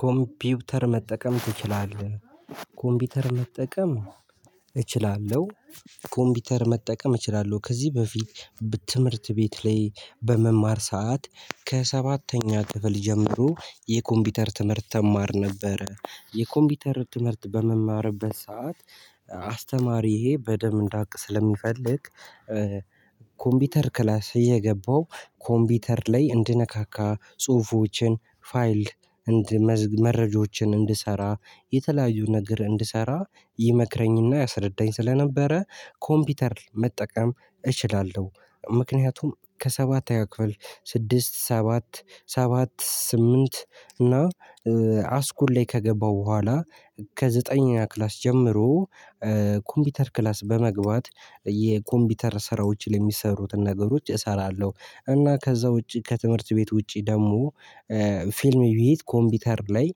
ኮምፒውተር መጠቀም ትችላለህ? ኮምፒውተር መጠቀም እችላለሁ። ኮምፒውተር መጠቀም እችላለሁ ከዚህ በፊት። ትምህርት ቤት ላይ በምማር ሰዓት ከሰባተኛ ክፍል ጀምሮ የኮምፒውተር ትምህርት እማር ነበር። የኮምፒውተር ትምህርት በመማርበት ሰዓት አስተማሪዬ በደንብ እንዳቅ ስለሚፈልግ። ኮምፒውተር ክላስ እየገባው ኮምፒውተር ላይ እንድነካካ ጽሁፎችን ፋይል። መረጃዎችን እንድሰራ የተለያዩ ነገር እንድሰራ ይመክረኝና ያስረዳኝ ስለነበረ። ኮምፒውተር መጠቀም እችላለሁ። ምክንያቱም ከሰባት አያክፍል ስድስት ሰባት ሰባት ስምንት እና አስኩል ላይ ከገባው በኋላ። ከዘጠነኛ ክላስ ጀምሮ ኮምፒውተር ክላስ በመግባት የኮምፒውተር ስራዎችን የሚሰሩትን ነገሮች እሰራለሁ። እና ከዛ ውጪ ከትምህርት ቤት ውጪ ደግሞ። ፊልም ቤት ኮምፒውተር ላይ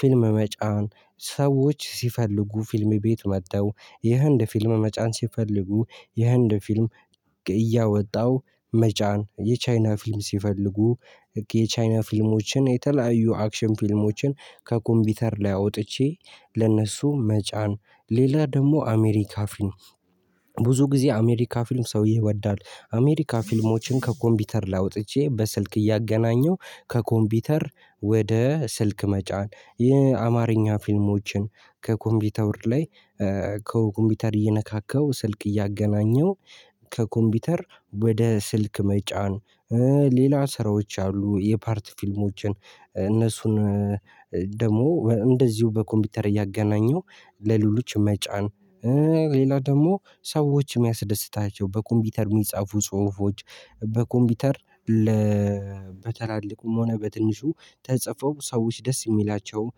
ፊልም መጫን ሰዎች ሲፈልጉ ፊልም ቤት መተው የህንድ ፊልም መጫን ሲፈልጉ የህንድ ፊልም እያወጣው መጫን የቻይና ፊልም ሲፈልጉ የቻይና ፊልሞችን የተለያዩ አክሽን ፊልሞችን ከኮምፒውተር ላይ አውጥቼ ለነሱ መጫን ሌላ ደግሞ አሜሪካ ፊልም። ብዙ ጊዜ አሜሪካ ፊልም ሰው ይወዳል አሜሪካ ፊልሞችን ከኮምፒውተር ላይ አውጥቼ በስልክ እያገናኘሁ። ከኮምፒውተር ወደ ስልክ መጫን የአማርኛ ፊልሞችን ከኮምፒውተር ላይ ከኮምፒውተር እየነካከው ስልክ እያገናኘው። ከኮምፒውተር ወደ ስልክ መጫን ሌላ ስራዎች አሉ የፓርት ፊልሞችን እነሱን ደግሞ እንደዚሁ በኮምፒውተር እያገናኘው ለሌሎች መጫን። ሌላ ደግሞ ሰዎች የሚያስደስታቸው በኮምፒውተር የሚጻፉ ጽሁፎች በኮምፒውተር ለ በትላልቁም ሆነ በትንሹ ተጽፈው ሰዎች ደስ የሚላቸውን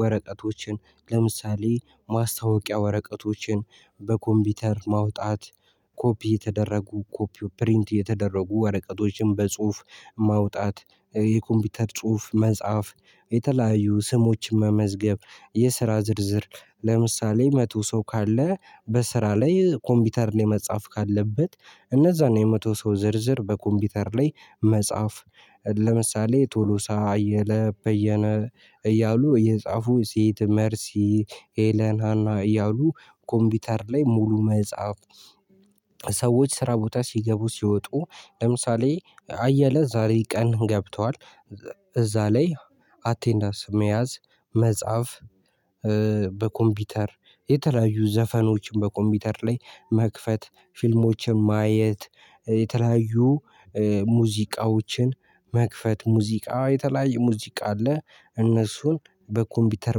ወረቀቶችን ለምሳሌ ማስታወቂያ ወረቀቶችን በኮምፒውተር ማውጣት። ኮፒ የተደረጉ ኮፒው ፕሪንት የተደረጉ ወረቀቶችን በጽሁፍ ማውጣት የኮምፒውተር ጽሁፍ መጽሐፍ የተለያዩ ስሞችን መመዝገብ የስራ ዝርዝር። ለምሳሌ መቶ ሰው ካለ በስራ ላይ ኮምፒውተር ላይ መጻፍ ካለበት እነዛን የመቶ ሰው ዝርዝር በኮምፒውተር ላይ መጻፍ። ለምሳሌ ቶሎሳ አየለ በየነ እያሉ እየጻፉ ሴት መርሲ ሄለን ሃና እያሉ ኮምፒውተር ላይ ሙሉ መጽሐፍ። ሰዎች ስራ ቦታ ሲገቡ ሲወጡ ለምሳሌ አየለ ዛሬ ቀን ገብቷል እዛ ላይ አቴንዳንስ መያዝ መጻፍ። በኮምፒውተር የተለያዩ ዘፈኖችን በኮምፒውተር ላይ መክፈት ፊልሞችን ማየት የተለያዩ ሙዚቃዎችን መክፈት ሙዚቃ የተለያዩ ሙዚቃ አለ እነሱን በኮምፒውተር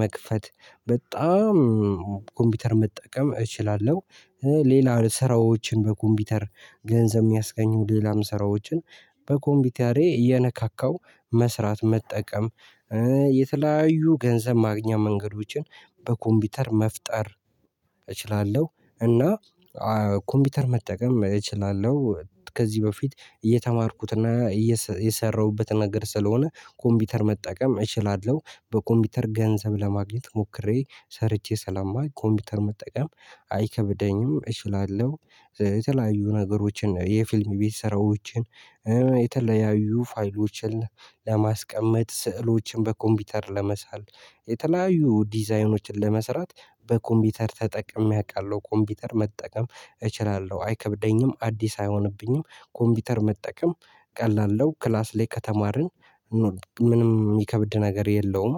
መክፈት በጣም ኮምፒውተር መጠቀም እችላለሁ። ሌላ ስራዎችን በኮምፒውተር ገንዘብ ሚያስገኙ ሌላም ስራዎችን በኮምፒውተሬ እየነካካው መስራት መጠቀም። የተለያዩ ገንዘብ ማግኛ መንገዶችን በኮምፒውተር መፍጠር እችላለሁ። እና ኮምፒውተር መጠቀም እችላለሁ። ከዚህ በፊት እየተማርኩትና እየሰራሁበት ነገር ስለሆነ ኮምፒውተር መጠቀም እችላለሁ። በኮምፒውተር ገንዘብ ለማግኘት ሞክሬ ሰርቼ ስለማውቅ ኮምፒውተር መጠቀም አይከብደኝም እችላለሁ። የተለያዩ ነገሮችን የፊልም ቤት ስራዎችን። የተለያዩ ፋይሎችን ለማስቀመጥ ስዕሎችን በኮምፒውተር ለመሳል የተለያዩ ዲዛይኖችን ለመስራት። በኮምፒውተር ተጠቅሜ አውቃለሁ ኮምፒውተር መጠቀም እችላለሁ አይከብደኝም አዲስ አይሆንብኝም። ኮምፒውተር መጠቀም ቀላል ነው ክላስ ላይ ከተማርን። ምንም የሚከብድ ነገር የለውም።